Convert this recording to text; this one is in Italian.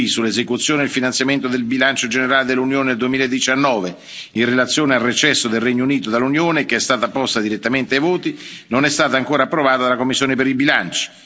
Arthuis sull'esecuzione del finanziamento del bilancio generale dell'Unione 2019 in relazione al recesso del Regno Unito dall'Unione, che è stata posta direttamente ai voti, non è stata ancora approvata dalla commissione per i bilanci.